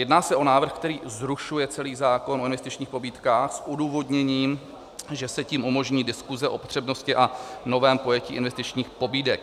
Jedná se o návrh, který zrušuje celý zákon o investičních pobídkách s odůvodněním, že se tím umožní diskuse o přednosti a novém pojetí investičních pobídek.